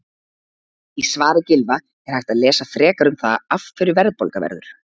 Í svari Gylfa er hægt að lesa frekar um það af hverju verðbólga verður.